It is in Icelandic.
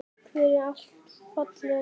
Takk fyrir allt, fallega sál.